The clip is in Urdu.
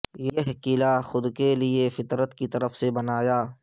یہ قلعہ خود کے لئے فطرت کی طرف سے بنایا